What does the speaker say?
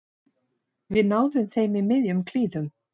Við náðum þeim í miðjum klíðum